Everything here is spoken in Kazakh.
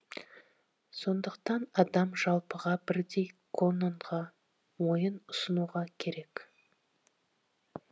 сондықтан адам жалпыға бірдей кононға мойын ұсынуға керек